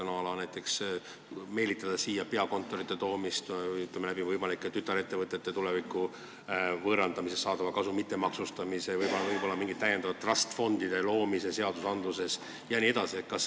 Ma mõtlen näiteks seda, et meelitada siia peakontoreid, tulevikus tütarettevõtete võimalikust võõrandamisest saadavat kasu mitte maksustada, võib-olla luua seadustega mingeid trust fund'e jne?